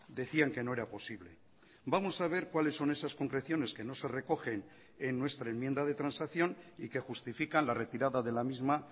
decían que no era posible vamos a ver cuáles son esas concreciones que no se recogen en nuestra enmienda de transacción y que justifican la retirada de la misma